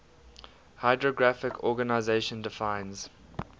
hydrographic organization defines